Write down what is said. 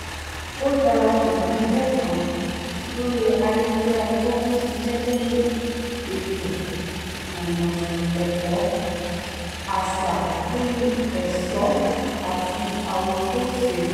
o darapọ̀ mọ́ e̩gbé̩ kan lórí ayelujara ti o ń s̩is̩é̩ lori eto-ẹkọ aṣa lórí è̩s̩ó̩ ati awokose